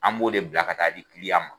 An b'o de bila ka taa di ma.